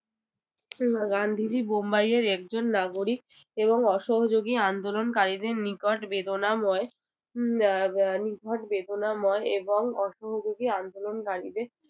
গান্ধীজী বোম্বাইয়ের একজন নাগরিক এবং অসহযোগী আন্দোলনকারীদের নিকট বেদনাময় হম আহ নিখাদ বেদনাময় এবং অসহযোগী আন্দোলনকারীদের